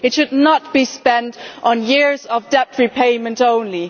They should not be spent on years of debt repayment only